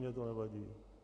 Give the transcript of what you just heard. Mně to nevadí.